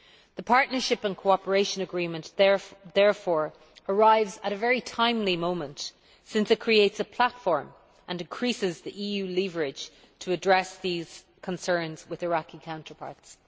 The Partnership and Cooperation Agreement therefore arrives at a very timely moment, since it creates a platform and increases the EU leverage to address these concerns with Iraqi counterparts.